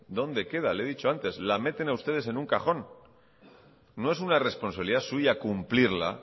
dónde queda le he dicho antes la meten ustedes en un cajón no es una responsabilidad suya cumplirla